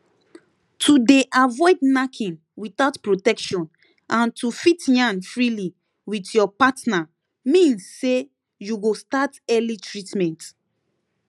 to dey avoid knacking without protection and to fit yarn freely with your partner means say you go start early treatment